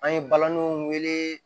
An ye balaniw wele